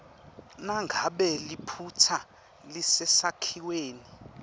nangabe liphutsa lisesakhiweni